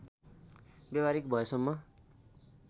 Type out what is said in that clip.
व्यावहारिक भएसम्म